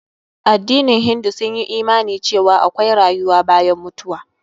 Addinin hindu sun yi imani cewa akwai rayuwa bayan mutuwa.